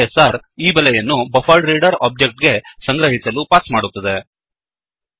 ISR ಈ ಬೆಲೆಯನ್ನು buffered reader object buffered reader object ಗೆ ಸಂಗ್ರಹಿಸಲು ಪಾಸ್ ಮಾಡುತ್ತದೆ